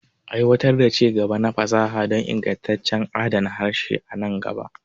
Aiwatar da ci-gaba na fasaha don ingantaccen adana harshe a nan gaba.